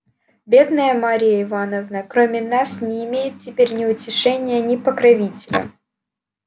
бедная марья ивановна кроме нас не имеет теперь ни утешения ни покровителя